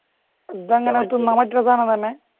ഇതെങ്ങനെ തിന്നാൻ പറ്റണേ സാധനം തന്നെ